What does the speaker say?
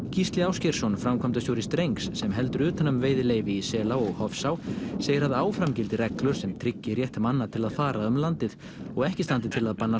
Gísli Ásgeirsson framkvæmdastjóri strengs sem heldur utan um veiðileyfi í Selá og Hofsá segir að áfram gildi reglur sem tryggi rétt manna til að fara um landið og ekki standi til að banna